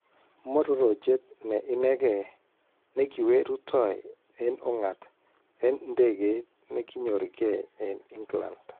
Mororochet ne inekei nekiwe rutoy en ung'at en ndekeit nekinyorkee en England